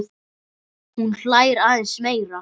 Hún hlær aðeins meira.